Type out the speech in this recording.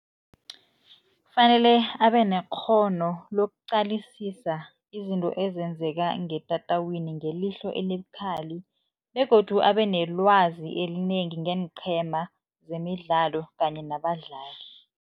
Kufanele abanekghono lokuqalisisa izinto ezenzeka ngetatawini ngelihlo elibukhali begodu abenelwazi elinengi ngeenqhema zemidlalo kanye nabadlali.